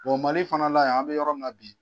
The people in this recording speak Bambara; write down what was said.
Mali fana la yan an bɛ yɔrɔ min na bi.